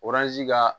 ka